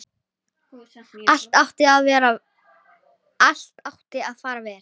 Allt átti að fara vel.